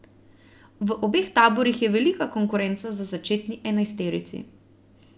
V obeh taborih je velika konkurenca za začetni enajsterici.